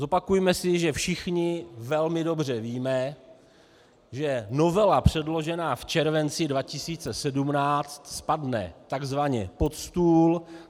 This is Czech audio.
Zopakujme si, že všichni velmi dobře víme, že novela předložená v červenci 2017 spadne tzv. pod stůl.